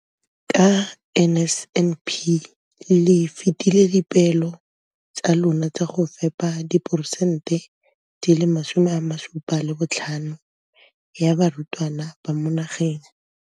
ka NSNP le fetile dipeelo tsa lona tsa go fepa diposente di le 75 ya barutwana ba mo nageng.